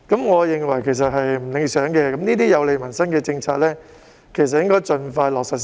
我認為這情況並不理想，這些有利民生的政策其實應該盡快落實。